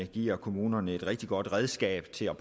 giver kommunerne et rigtig godt redskab til at